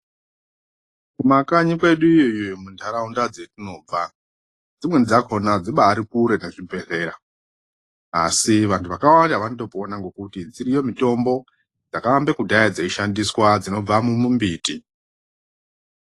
Kumakanyi kwedu iyo kundaaraunda dzatinobva Dzimwnei dzakona dzibarinkure nezvibhedhlera asi vantu vakawanda zvakanaka ngekuti dziriyo mitombo dzakawanda kudhaya dzeishandiswa dzinonga mumumbiti.